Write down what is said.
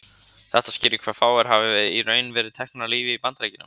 þetta skýrir hve fáir hafa í raun verið teknir af lífi í bandaríkjunum